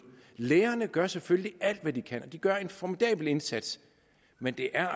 lærerne gør selvfølgelig alt hvad de kan og de gør en formidabel indsats men det er